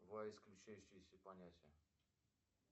два исключающиеся понятия